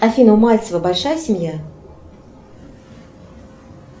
афина у мальцева большая семья